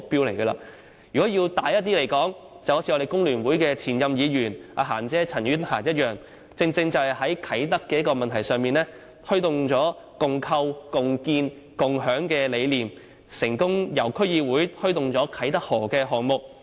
如果再說得遠大一點，正如我們香港工會聯合會前任議員"嫻姐"陳婉嫻般，她在啟德問題上，正正推動了"共構、共建、共享"的理念，成功由區議會推動啟德河項目。